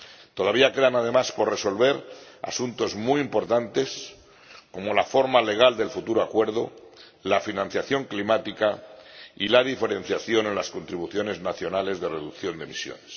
Todavía quedan además por resolver asuntos muy importantes, como la forma legal del futuro acuerdo, la financiación climática y la diferenciación en las contribuciones nacionales de reducción de emisiones.